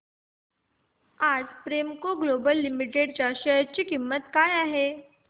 आज Premco global limited च्या share ची किंमत काय आहे